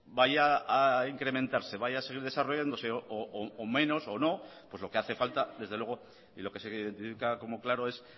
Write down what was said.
vaya a incrementarse vaya a seguir desarrollándose o menos o no pues lo que hace falta desde luego y lo que se identifica como claro es